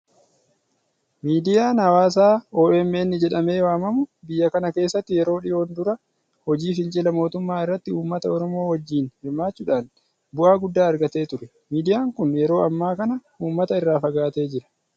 Miidiyaan hawaasaa OMN jedhamee waamamu biyya kana keessatti yeroo dhiyoon dura hojii fincila mootummaa irratti uummata Oromoo wajjin hirmaachuudhaan bu'aa guddaa argatee ture. Miidiyaan kun yeroo ammaa kana uummata irraa fagaatee jira.